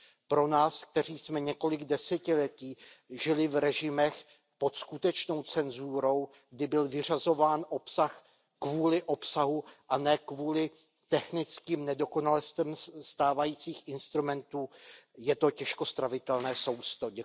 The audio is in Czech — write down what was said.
Pro nás, kteří jsme několik desetiletí žili v režimech pod skutečnou cenzurou, kdy byl vyřazován obsah kvůli obsahu a ne kvůli technickým nedokonalostem stávajících instrumentů, je to těžko stravitelné sousto.